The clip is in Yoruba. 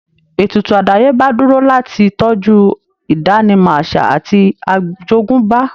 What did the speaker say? Ètùtù àdáyébá dúró láti tọ́jú ìdánimọ̀ àṣà àti àjogúnbá